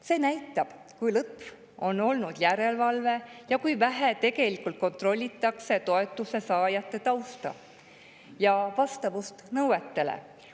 See näitab, kui lõtv on olnud järelevalve ja kui vähe tegelikult kontrollitakse toetuse saajate tausta ja vastavust nõuetele.